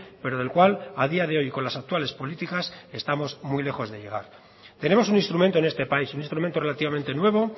pero del cual a día de hoy y con las actuales políticas estamos muy lejos de llegar tenemos un instrumento en este país un instrumento relativamente nuevo